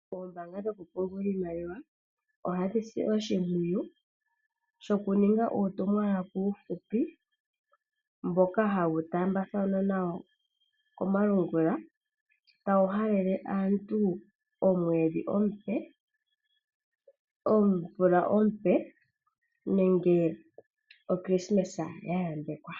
Oombaanga dhokupungula iimaliwa ohadhi si oshimpwiyu shokuninga uutumwalaka uufupi mboka hawu taambathanwa komalungula tawu halele aantu omvula ompe nenge okilisimesa ya yambekwa.